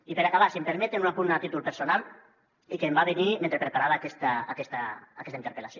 i per acabar si m’ho permeten un apunt a títol personal i que em va venir mentre preparava aquesta interpel·lació